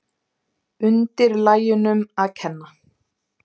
Undirlægjunum að kenna.